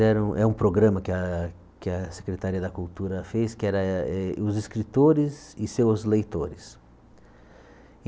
Era um é um programa que a que a Secretaria da Cultura fez, que era eh os escritores e seus leitores.